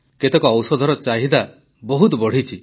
କେତେକ ଔଷଧର ଚାହିଦା ବହୁତ ବଢ଼ିଛି